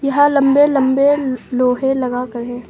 यहां लंबे लंबे लोहे लगाकर है।